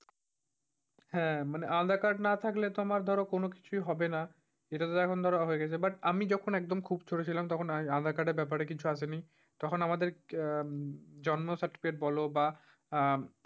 হ্যাঁ মানে আধার-কার্ড না থাকলে তোমার ধর কোনকিছুই হবে না। এটাতো এখন ধর হয়ে গেছে but আমি যখন একদম খুব ছোট ছিলাম তখন আধারকার্ড এর ব্যাপারে কিছু একদমি তখন আমাদেরকে আহ জন্ম certifacate বল বা, আহ